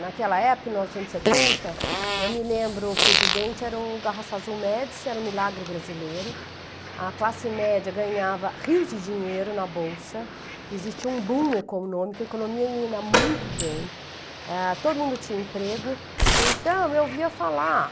Naquela época, mil novecentos e setenta, eu me lembro, o presidente era o Azul Médici, era um milagre brasileiro, a classe média ganhava rios de dinheiro na Bolsa, existia um boom econômico, a economia ia indo muito bem, ãh, todo mundo tinha emprego, então eu ouvia falar,